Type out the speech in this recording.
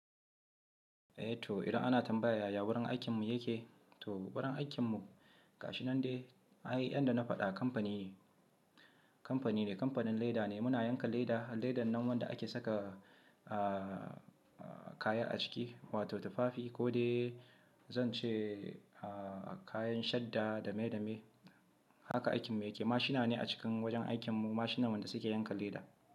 Eh to idan ana tambaya yaya wurin aikinmu yake, to wurin aikinmu ga shi nan dai, ai yanda na faɗa company ne kamfani ne, kamfanin leda ne. Muna yanka leda, ledan nan wanda ake saka, ah, kaya a ciki wato tufafi ko dai zan ce kayan shadda dame dame. Haka aikinmu yake. Mashina ne a cikin wajen aikinmu, mashinan wanda suke yanka leda.